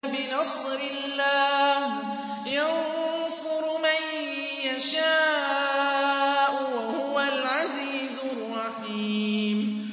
بِنَصْرِ اللَّهِ ۚ يَنصُرُ مَن يَشَاءُ ۖ وَهُوَ الْعَزِيزُ الرَّحِيمُ